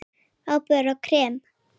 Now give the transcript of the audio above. Áburður og krem